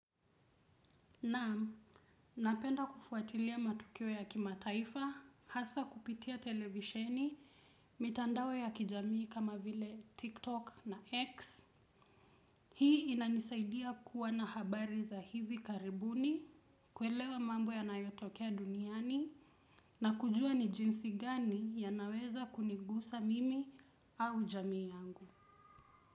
Naam, napenda kufuatilia matukio ya kimataifa, hasa kupitia televisheni, mitandao ya kijamii kama vile TikTok na X. Hii inanisaidia kuwa na habari za hivi karibuni, kuelewa mambo yanayotokea duniani, na kujua ni jinsi gani yanaweza kunigusa mimi au jamii yangu.